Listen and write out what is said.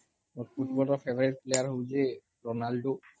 ମୋର ଫୁଟବଲ୍ ରେ favourite player ହଉଛି Ronaldo